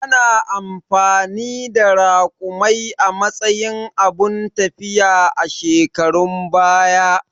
Ana amfani da Raƙumai a matsayin abun tafiya a shekarun baya